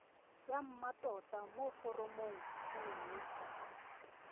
ya mmatota mo foromong nngwe